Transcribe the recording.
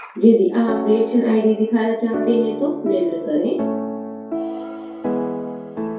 यदि आप reaction id दिखाना चाहते हैं तो निम्न करें